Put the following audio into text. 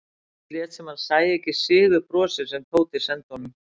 Örn lét sem hann sæi ekki sigurbrosið sem Tóti sendi honum.